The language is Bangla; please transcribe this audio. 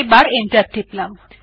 আবার এন্টার টিপলাম